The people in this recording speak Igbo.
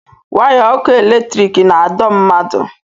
waya ọkụ eletiriki na-adọ mmadụ